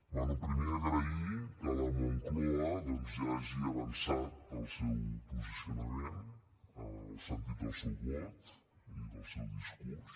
bé primer agrair que la moncloa doncs ja hagi avançat el seu posicionament el sentit del seu vot i del seu discurs